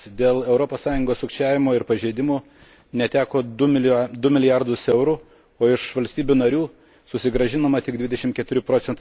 dėl Europos Sąjungos sukčiavimo ir pažeidimų neteko 2 milijardų eurų, o iš valstybių narių susigrąžinama tik 24 proc.